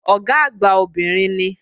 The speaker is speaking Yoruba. Ọ̀gá àgbà obìnrin ni